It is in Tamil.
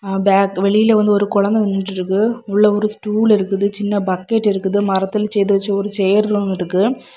பேக்கு வெளியில வந்து ஒரு குழந்தை நின்னுட்டு இருக்கு உள்ள வந்து ஒரு ஸ்டூல் இருக்கு சின்ன பக்கெட் இருக்குது மரத்துல செய்து வச்ச ஒரு சேர்களும் இருக்கு.